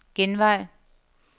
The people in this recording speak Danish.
genvej